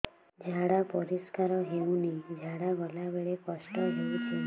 ଝାଡା ପରିସ୍କାର ହେଉନି ଝାଡ଼ା ଗଲା ବେଳେ କଷ୍ଟ ହେଉଚି